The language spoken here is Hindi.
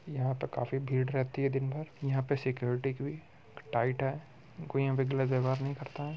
यहाँ पर काफी भीड़ रहती है दिन भर। यहाँ पर सिक्योरिटी की भी टाईट है। कोई यहाँ पे गलत व्यवहार नहीं करता है।